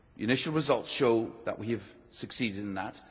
Initial results show that we have succeeded in that.